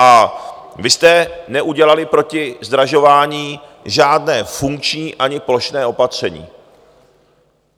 A vy jste neudělali proti zdražování žádné funkční ani plošné opatření.